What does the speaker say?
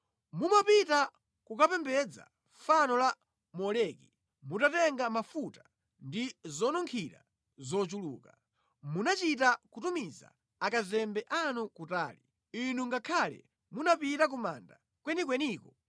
Mumapita kukapembedza fano la Moleki mutatenga mafuta ndi zonunkhira zochuluka. Munachita kutumiza akazembe anu kutali; inu ngakhale munapita ku manda kwenikweniko!